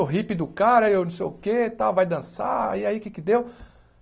O hippie do cara aí, não sei o quê e tal, vai dançar... E aí, o que é que deu?